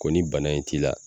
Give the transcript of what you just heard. Ko ni bana in t'i la.